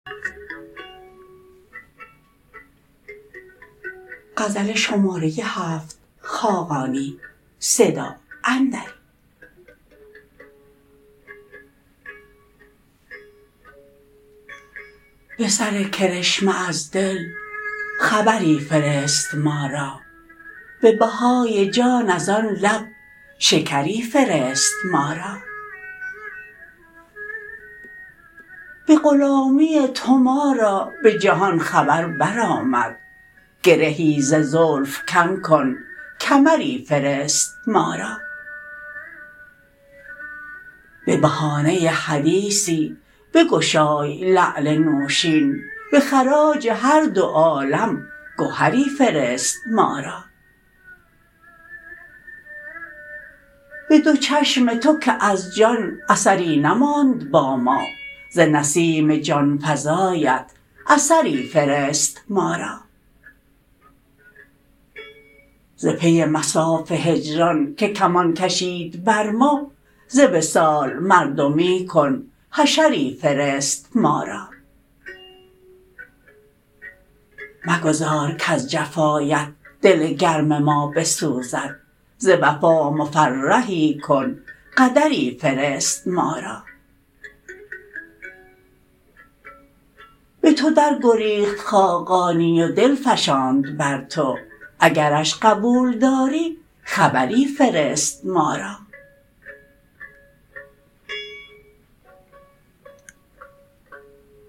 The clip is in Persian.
به سر کرشمه از دل خبری فرست ما را به بهای جان از آن لب شکری فرست ما را به غلامی تو ما را به جهان خبر برآمد گرهی ز زلف کم کن کمری فرست ما را به بهانه حدیثی بگشای لعل نوشین به خراج هر دو عالم گهری فرست ما را به دو چشم تو که از جان اثری نماند با ما ز نسیم جانفزایت اثری فرست ما را ز پی مصاف هجران که کمان کشید بر ما ز وصال مردمی کن حشری فرست ما را مگذار کز جفایت دل گرم ما بسوزد ز وفا مفرحی کن قدری فرست ما را به تو درگریخت خاقانی و دل فشاند بر تو اگرش قبول کردی خبری فرست ما را